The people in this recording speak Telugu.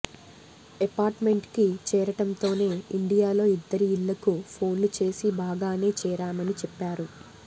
ఎపార్ట్మెంట్కి చేరటంతోనే ఇండియాలో ఇద్దరి ఇళ్ళకూ ఫోన్లు చేసి బాగానే చేరామని చెప్పారు